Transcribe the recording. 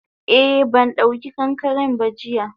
Eh bandauki kankaren ba jiya.